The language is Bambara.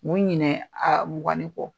Mi ɲinɛ a mugan ni kɔ,